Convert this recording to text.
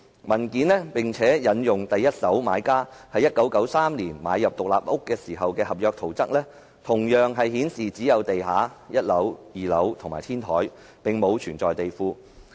文件附有第一手買家在1993年買入獨立屋時的合約圖則，顯示只有地下、1樓、2樓及天台，並無地庫。